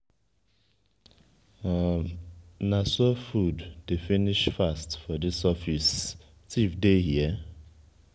na so food dey finish fast for dis office thief dey here?